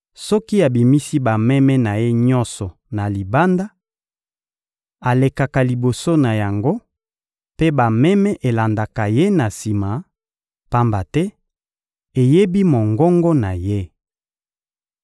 Soki abimisi bameme na ye nyonso na libanda, alekaka liboso na yango; mpe bameme elandaka ye na sima, pamba te eyebi mongongo na ye.